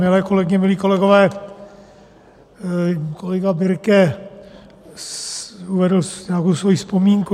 Milé kolegyně, milí kolegové, kolega Birke uvedl nějakou svoji vzpomínku.